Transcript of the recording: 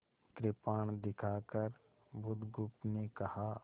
कृपाण दिखाकर बुधगुप्त ने कहा